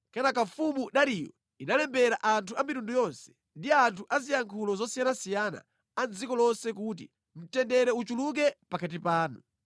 Kenaka mfumu Dariyo inalembera anthu a mitundu yonse, ndi anthu a ziyankhulo zosiyanasiyana a mʼdziko lonse kuti, “Mtendere uchuluke pakati panu!